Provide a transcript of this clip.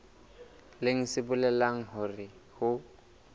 leng se bolelang hore ho